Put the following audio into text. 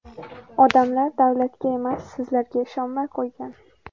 Odamlar davlatga emas, sizlarga ishonmay qo‘ygan.